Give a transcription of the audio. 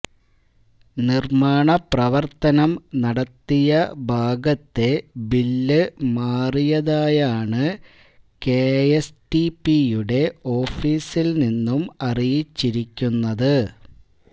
നിര്മ്മാണ പ്രവര്ത്തനം നടത്തിയ ഭാഗത്തെ ബില്ല് മാറിയതായാണ് കെഎസ്റ്റിപിയുടെ ഓഫീസില് നിന്നും അറിയിച്ചിരിക്കുന്നത്